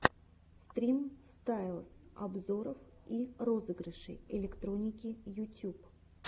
стрим стайлэс обзоров и розыгрышей электроники ютюб